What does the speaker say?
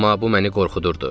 Amma bu məni qorxudurdu.